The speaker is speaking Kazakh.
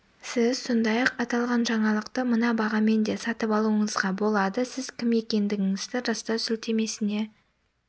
сіз сондай-ақ аталған жаңалықты мына бағамен де сатып алуыңызға болады сіз кім екендігіңізді растау сілтемесіне